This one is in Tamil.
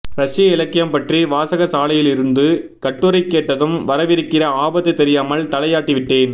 ரஷ்ய இலக்கியம் பற்றி வாசகசாலையிலிருந்து கட்டுரை கேட்டதும் வரவிருக்கிற ஆபத்து தெரியாமல் தலையாட்டிவிட்டேன்